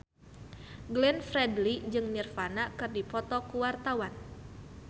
Glenn Fredly jeung Nirvana keur dipoto ku wartawan